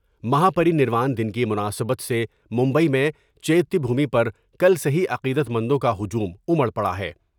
مہا پری نروان دن کی مناسبت سے ممبئی میں چیتیہ بھومی پرکل سے ہی عقیدتمندوں کا ہجوم امڈ پڑا ہے ۔